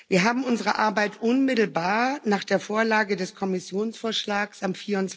Wir haben unsere Arbeit unmittelbar nach der Vorlage des Kommissionsvorschlags am